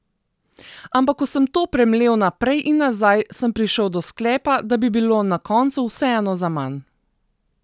Ampak ko sem to premlel naprej in nazaj, sem prišel do sklepa, da bi bilo na koncu vseeno zaman.